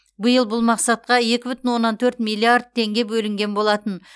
биыл бұл мақсатқа екі бүтін оннан төрт миллиард теңге бөлінген болатын